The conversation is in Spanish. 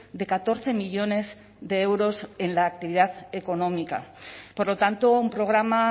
de catorce millónes de euros en la actividad económica por lo tanto un programa